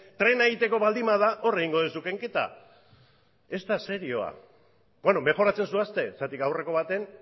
trena egiteko baldin bada hor egingo duzu kenketa ez da serioa bueno mejoratzen zoazte zergatik aurreko baten